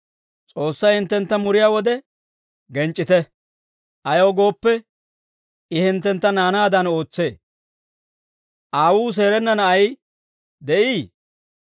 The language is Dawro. S'oossay hinttentta muriyaa wode genc'c'ite. Ayaw gooppe, I hinttentta naanaadan ootsee. Aawuu seerenna na'ay de'ii?